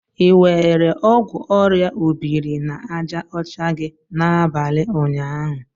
Ị were ọgwụ orịa obiri-na-aja ocha gị n'abalị ụnyaahụ?